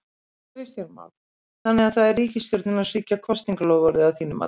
Kristján Már: Þannig að það er ríkisstjórnin að svíkja kosningaloforð að þínu mati?